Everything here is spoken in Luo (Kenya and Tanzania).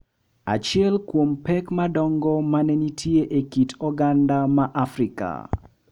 Achiel kuom pek madongo ma ne nitie e kit oganda ma Afrika,